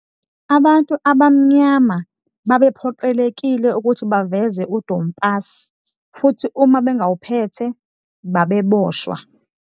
Abantu abamnyama babephoqelekile ukuthi baveze udompasi futhi uma bengawuphethe, babeboshwa.